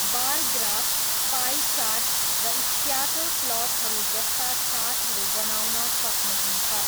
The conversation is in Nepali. बार ग्राफ, पाई चार्ट, र स्क्याटर प्लटहरू जस्ता चार्टहरू बनाउन सक्नुहुन्छ।